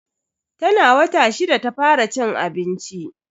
Tana wata shida ta fara cin abinci.